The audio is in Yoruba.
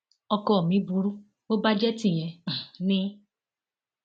ọkọ mi burú bó bá jẹ tìyẹn um ni